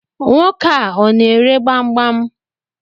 Nwoke a, ọ na ere gbamgbam?